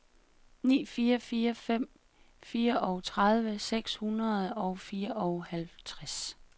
ni fire fire fem fireogtredive seks hundrede og fireoghalvtreds